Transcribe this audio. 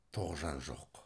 тоғжан жоқ